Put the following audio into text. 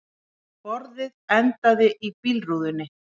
Borðið endaði í bílrúðunni